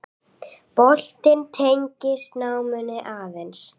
Boltinn tengist náminu aðeins.